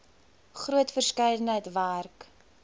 groot verskeidenheid werk